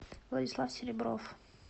владислав селебров